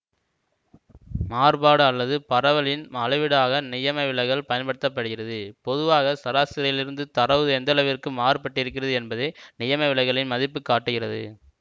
மாறுபாடு அல்லது பரவல் ன் அளவீடாக நியமவிலகல் பயன்படுத்த படுகிறது பொதுவாக சராசரியிலிருந்து தரவு எந்தளவிற்கு மாறுபட்டிருக்கிறது என்பதை நியமவிலகலின் மதிப்பு காட்டுகிறது